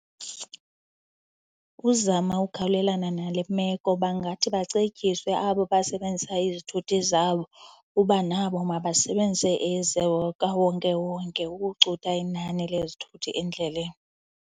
Ukuzama ukukhawulelana nale meko bangathi bacetyiswe abo basebenzisa izithuthi zabo uba nabo mabasebenzise ezikawonkewonke ukucutha inani lezithuthi endleleni.